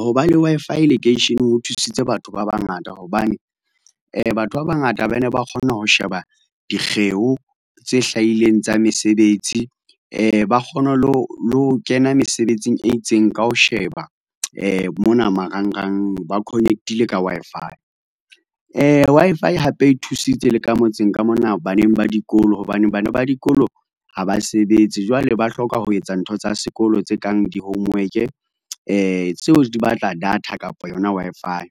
Ho ba le Wi-Fi lekeisheneng ho thusitse batho ba bangata, hobane batho ba bangata ba ne ba kgona ho sheba dikgeo tse hlahileng tsa mesebetsi ba kgone le ho kena mesebetsing e itseng ka ho sheba mona marangrang ba connect-ile ka Wi-Fi. Wi-Fi hape e thusitse le ka motseng ka mona baneng ba dikolo hobane bana ba dikolo ha ba sebetse, jwale ba hloka ho etsa ntho tsa sekolo tse kang di-homework tseo di batla data kapa yona Wi-Fi,